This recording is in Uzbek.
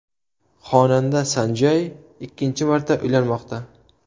Xonanda San Jay ikkinchi marta uylanmoqda.